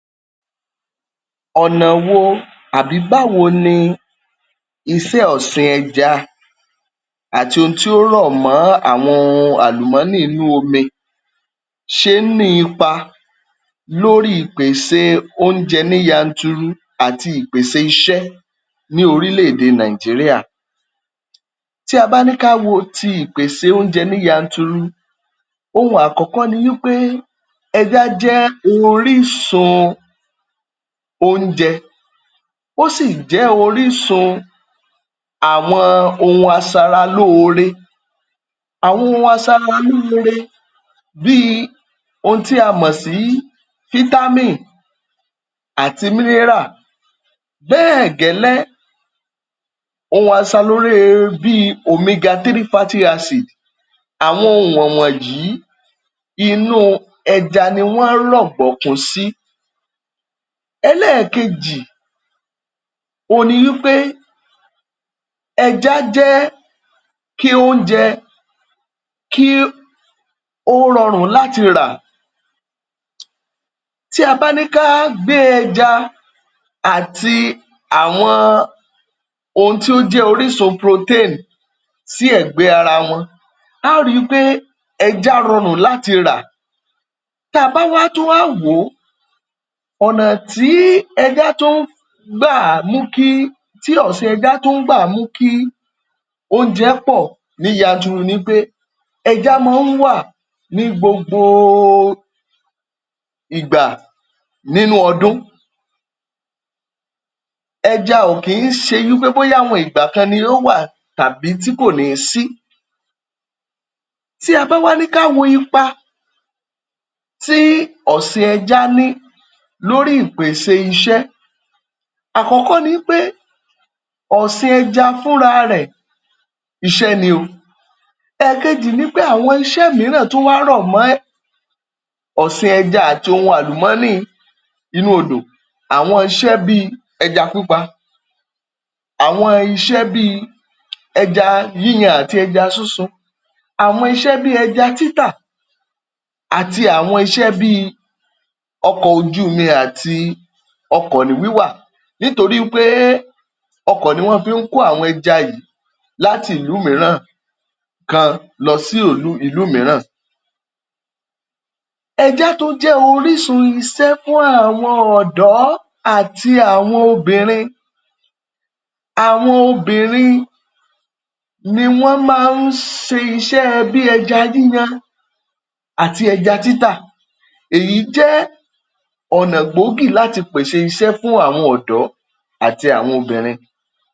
Ọ̀nà wo, àbí báwo ni iṣẹ́ ọ̀sìn ẹja àti ohun tí ó rọ̀ mọ́ àwọn ohun àlùmọ́nì inú omi ṣe ń ní ipa lórí ìpèsè oúnjẹ ní yanturu àti ìpèsè iṣẹ́ ní orílẹ̀-èdè Nigeria? Tí a bá ní ká wo ti ìpèsè oúnjẹ ní yanturu, ohun àkọ́kọ́ ni wí pé, ẹjá jẹ́ orísun oún. Ó sì jẹ́ orísun àwọn ohun asaralóore. Àwọn ohun asaralóore bíi ohun tí a mọ̀ sí fítámìn àti mínírà. Bẹ́ẹ̀ gẹ́lẹ́ ohun bíi Omega 3 Fatty Acid, àwọn ohun wọ̀n wọ̀nyí inú ẹja ni wọ́n rọ̀gbọ̀kún sí. Ẹlẹ́ẹ̀kejì, ohun ni wí pé, ẹja jẹ́ kí oúnjẹ kí ó rọrùn láti rà. Tí a bá ní ká gbé ẹja àti àwọn ohun tí ó jẹ́ orísun protein sí ẹ̀gbẹ́ ara wọn, a ó ri wí pé ẹja rọrùn láti rà. Tá a bá wá tún wá wò ó, ọ̀nà tí ẹja tún gbà ń mú kí, tí ọ̀sìn ẹja tún gbà ń mú kí oúnjẹ pọ̀ ní yanturu ni wí pé, ẹja máa ń wà ní gbogbooo ìgbà nínú ọdún. Ẹja ò kí ń ṣe wí pé bóyá àwọn ìgbà kan ni ó wà tàbí tí kò ní sí. Tí a bá wá ní ká wo ipa tí ọ̀sìn ẹja ní lórí ìpèsè iṣẹ́, àkọ́kọ́ ni wí pé ọ̀sìn ẹja fúnra rẹ̀ iṣẹ́ ni o. Ẹ̀ẹ̀kejì ni pé àwọn iṣẹ́ mìíràn tún wá rọ̀ mọ́ ọ̀sìn ẹja àti ohun àlùmọ́nì inú odò. Àwọn iṣẹ́ bíi ẹja pípa, àwọn iṣẹ́ bíi ẹja yíyan àti ẹja súnsun, àwọn iṣẹ́ bíi ẹja títà àti àwọn iṣẹ́ bíi ọkọ̀ ojú omi àti ọkọ̀ ní wíwà. Nítorí wí pé ọkọ̀ ni wọ́n fi ń kó àwọn ẹja yìí láti ìlú míràn kan lọ um sí ìlú míràn. Ẹja tún jẹ́ orísun isẹ́ fún àwọn ọ̀dọ́ àti àwọn obìnrin. Àwọn obìnrin ni wọ́n máa ń ṣe iṣẹ́ ẹ bí ẹja yíyan àti ẹja títà. Èyí jẹ́ ọ̀nà gbógì láti pèsè iṣẹ́ fún àwọn ọ̀dọ́ àti àwọn obìnrin.